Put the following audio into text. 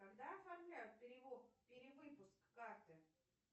когда оформляют перевыпуск карты